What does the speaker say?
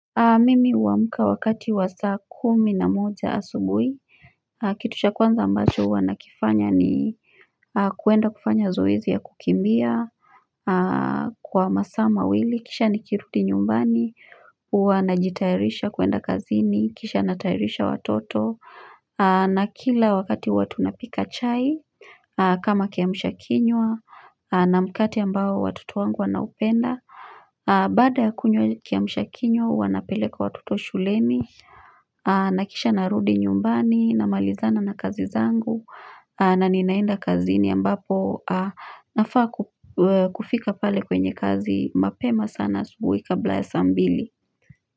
Mimi uamuka wakati wa saa kumi na moja asubui kitu cha kwanza ambacho hua nakifanya ni kuenda kufanya zoezi ya kukimbia kwa masaa mawili kisha nikirudi nyumbani huwa najitayarisha kuenda kazini kisha natayarisha watoto na kila wakati huwa tunapika chai kama kiamsha kinywa na mkate ambao watoto wangu wanaupenda Baada ya kunywa ile kiamshakinywa huwa napeleka watoto shuleni na kisha narudi nyumbani na malizana na kazi zangu na ninaenda kazini ambapo nafaa kufika pale kwenye kazi mapema sana asubuhi kabla ya sambili.